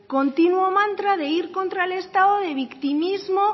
continuo mantra de ir contra el estado de victimismo